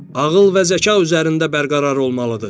Ağıl və zəka üzərində bərqərar olmalıdır.